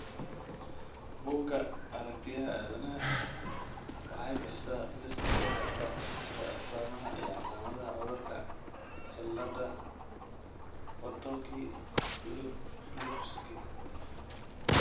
Bugga Aaragtiyaha Aadanaha waxay bixisaa liiska soo socda ee astamaha iyo calaamadaha cudurka cilada Potocki Lupski .